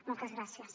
moltes gràcies